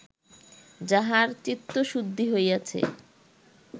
যাহার চিত্তশুদ্ধি হইয়াছে